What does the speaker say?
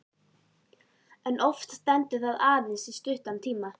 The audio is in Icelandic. En oft stendur það aðeins í stuttan tíma.